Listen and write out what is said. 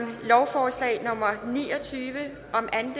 lovforslag nummer ni og tyve